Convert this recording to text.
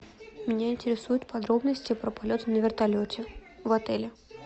меня интересуют подробности про полет на вертолете в отеле